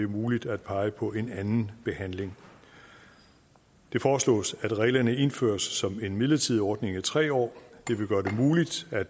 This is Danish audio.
muligt at pege på en anden behandling det foreslås at reglerne indføres som en midlertidig ordning i tre år det vil gøre det muligt at